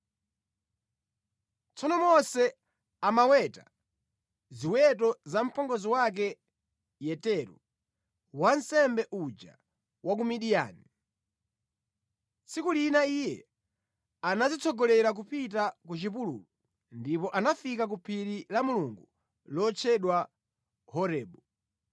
Tsono Mose amaweta ziweto za mpongozi wake Yetero, wansembe uja wa ku Midiyani. Tsiku lina iye anazitsogolera kupita ku chipululu ndipo anafika ku phiri la Mulungu lotchedwa Horebu.